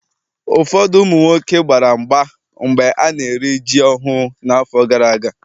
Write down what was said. Ụfọdụ ụmụ nwoke gbara mgba mgbe ana-eri ji ọhụụ n'afọ gara aga.